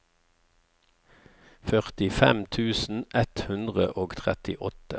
førtifem tusen ett hundre og trettiåtte